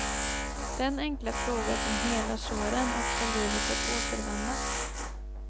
Den enkla fråga som helar såren och får livet att återvända.